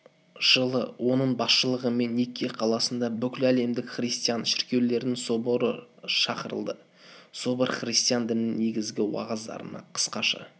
жылы оның басшылығымен никке қаласында бүкіләлемдік христиан шіркеулерінің соборы шақырылды собор христиан дінінің негізгі уағыздарына қысқаша